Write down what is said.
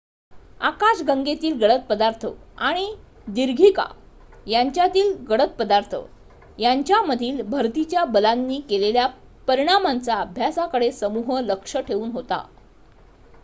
आकाश गंगेतील गडद पदार्थ आणि दीर्घिका यांच्यातील गडद पदार्थ यांच्यामधील भरतीच्या बलांनी केलेल्या परिणामांचा अभ्यासाकडे समूह लक्ष ठेवून होता